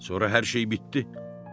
Sonra hər şey bitdi.